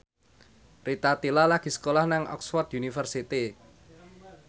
Rita Tila lagi sekolah nang Oxford university